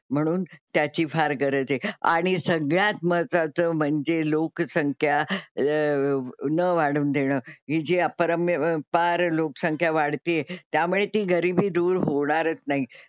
म्हणून त्याची फार गरज आहे आणि सगळ्यात महत्त्वाचं म्हणजे लोकसंख्या अं न वाढू देणं. हि जी अपरम्य पार लोकसंख्या वाढते आहे त्यामुळे ती गरीबी दूर होणारच नाही.